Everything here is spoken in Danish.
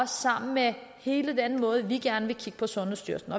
sammen med hele den måde vi gerne vil kigge på sundhedsstyrelsen